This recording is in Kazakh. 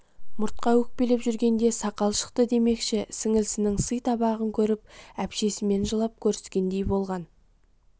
мұртқа өкпелеп жүргенде сақал шықты демекші сіңілісінің сый табағын көріп әпшесімен жылап көріскендей болған